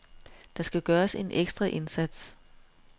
Der skal gøres en ekstra indsats.